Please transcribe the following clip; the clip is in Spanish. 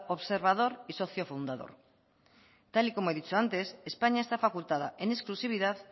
observador y socio fundador tal y como he dicho antes españa está facultada en exclusividad